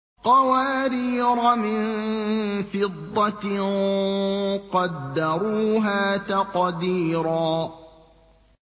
قَوَارِيرَ مِن فِضَّةٍ قَدَّرُوهَا تَقْدِيرًا